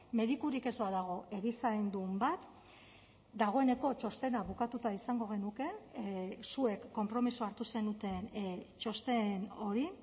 medikurik ez badago erizaindun bat dagoeneko txostena bukatuta izango genuke zuek konpromisoa hartu zenuten txosten hori